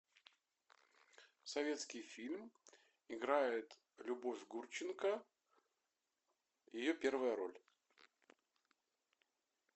советский фильм играет любовь гурченко ее первая роль